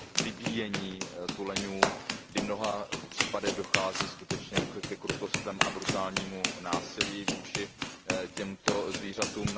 vybíjení tuleňů, kdy v mnoha případech dochází skutečně ke krutostem a brutálnímu násilí vůči těmto zvířatům.